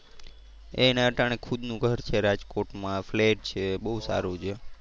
એને અટાણે ખુદ નું ઘર છે રાજકોટ માં, ફ્લેટ છે બહુ સારું છે.